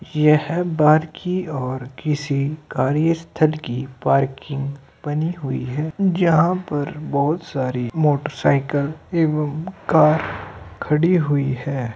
ये है बार्की और किसी कार्यस्थल की पार्किंग बनी हुई है जहां पर बहुत सारी मोटरसाइकिल एवं कार खड़ी हुई हैं।